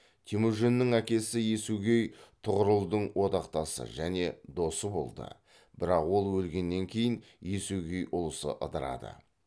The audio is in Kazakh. темүжіннің әкесі есугей тұғырылдың одақтасы және досы болды бірақ ол өлгеннен кейін есугей ұлысы ыдырады